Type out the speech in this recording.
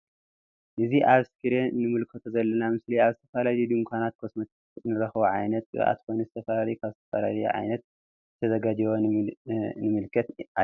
እዚ ኣብ እስክሪን እንምልከቶ ዘለና ምስሊ ኣብ ዝተፈላለዩ ዱካናትን ኮስሞቲክስ እንረክቦ ዓይነት ቅብኣት ኮይኑ ዝተፈላለዩ ካብ ዝተፈላለዩ ዓይነት ዝተዘጋጀዉ ንምልከት ኣለና።